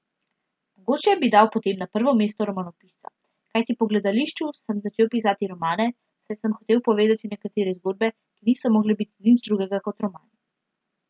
Mogoče bi dal potem na prvo mesto romanopisca, kajti po gledališču sem začel pisati romane, saj sem hotel povedati nekatere zgodbe, ki niso mogle biti nič drugega kot romani.